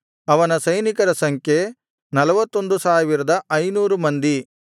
ಅವನ ಸೈನಿಕರ ಸಂಖ್ಯೆ 41500 ಮಂದಿ